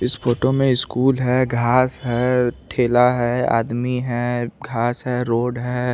इस फोटो में स्कूल है घास है ठेला है आदमी है घास है रोड है।